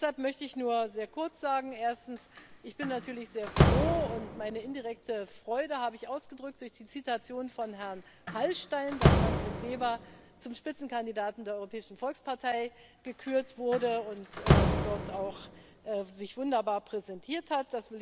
Deshalb möchte ich nur sehr kurz sagen Erstens bin ich natürlich sehr froh und meine indirekte Freude habe ich ausgedrückt durch das Zitat von Herrn Hallstein dass Manfred Weber zum Spitzenkandidaten der Europäischen Volkspartei gekürt wurde und sich dort auch wunderbar präsentiert hat.